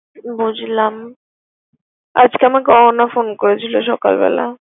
বুঝলাম। আজকে আমাকে অহনা ফোন করেছিল সকাল বেলা।